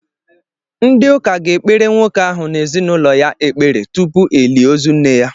Ndi ụka ga-ekpere nwoke ahụ na ezinụlọ ya ekpere tupu elie ozu nne ya.